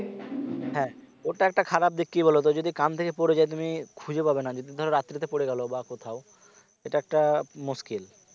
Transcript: হ্যাঁ ওটা একটা খারাপ দিক কি বলতো যদি কান থেকে পড়ে যায় তুমি খুঁজে পাবে না যদি ধরো রাত্রিতে পড়ে গেল বা কোথাও এটা একটা মুশকিল